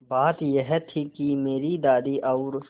बात यह थी कि मेरी दादी और